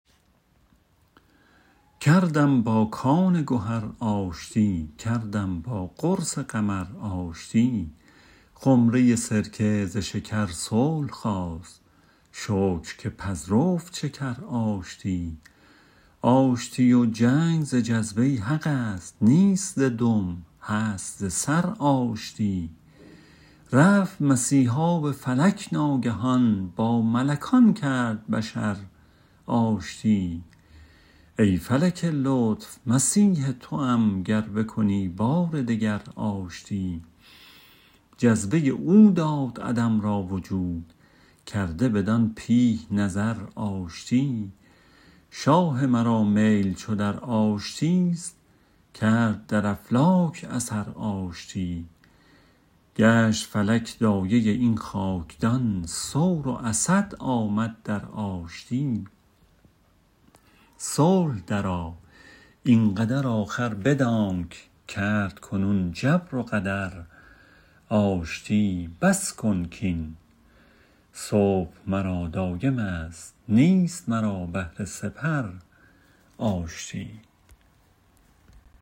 کردم با کان گهر آشتی کردم با قرص قمر آشتی خمره سرکه ز شکر صلح خواست شکر که پذرفت شکر آشتی آشتی و جنگ ز جذبه حق است نیست ز دم هست ز سر آشتی رفت مسیحا به فلک ناگهان با ملکان کرد بشر آشتی ای فلک لطف مسیح توم گر بکنی بار دگر آشتی جذبه او داد عدم را وجود کرده بدان پیه نظر آشتی شاه مرا میل چو در آشتیست کرد در افلاک اثر آشتی گشت فلک دایه این خاکدان ثور و اسد آمد در آشتی صلح درآ این قدر آخر بدانک کرد کنون جبر و قدر آشتی بس کن کین صبح مرا دایمست نیست مرا بهر سپر آشتی